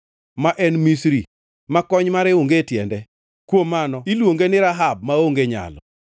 ma en Misri, ma kony mare onge tiende. Kuom mano iluonge ni Rahab maonge nyalo.